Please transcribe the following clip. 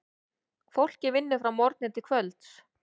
Fólkið vinnur frá morgni til kvölds.